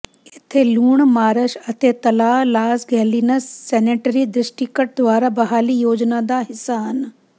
ਇੱਥੇ ਲੂਣ ਮਾਰਸ਼ ਅਤੇ ਤਲਾਅ ਲਾਸ ਗੈਲਿਨਸ ਸੈਨੇਟਰੀ ਡਿਸਟ੍ਰਿਕਟ ਦੁਆਰਾ ਬਹਾਲੀ ਯੋਜਨਾ ਦਾ ਹਿੱਸਾ ਹਨ